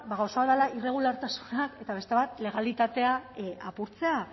gauza bat dela irregulartasunak eta beste bat legalitatea apurtzea